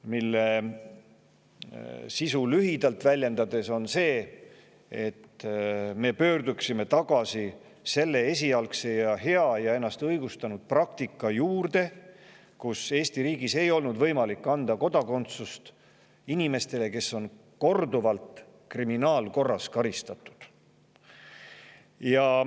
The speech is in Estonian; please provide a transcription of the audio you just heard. Selle sisu on lühidalt väljendades see, et me pöörduksime tagasi esialgse, hea ja ennast õigustanud praktika juurde, mille käigus ei olnud Eesti riigis võimalik anda kodakondsust inimestele, keda on kriminaalkorras korduvalt karistatud.